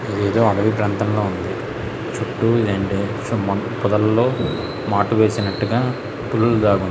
ఇది అయితే ఆడవి ప్రాంతంల ఉంది. చుట్టూ పొదలో మాటు వేసినట్టుగా --